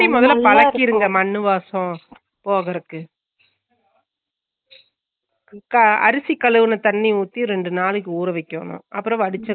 அப்புடியா சேரிசேரி cut பண்ண பண்ணிற வேண்டா அப்புடியே பசிட்டு இரு அஹ் உங்க அம்மா